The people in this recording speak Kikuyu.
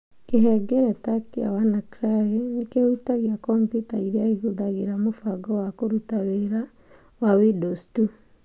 Kĩhengereta kĩa WannaCry nĩ kĩhutagia kompiuta iria ihũthagĩra mũbango wa kũruta wĩra wa Windows tu.